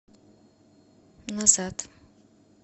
назад